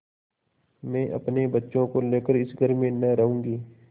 मैं अपने बच्चों को लेकर इस घर में न रहूँगी